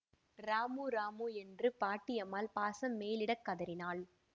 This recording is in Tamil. ராமு ராமு என்று பாட்டியம்மாள் பாசம் மேலிடக் கதறினாள்